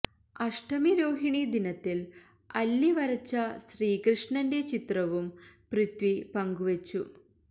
അഷ്ടമി രോഹിണി ദിനത്തിൽ അല്ലി വരച്ച ശ്രീകൃഷ്ണന്റെ ചിത്രവും പൃഥ്വി പങ്കുവച്ചു